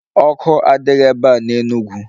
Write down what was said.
Ọkụ adịghị ebe a n'Enugwu